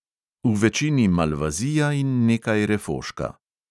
V večini malvazija in nekaj refoška.